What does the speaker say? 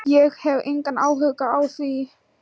Ég hef engan áhuga á því.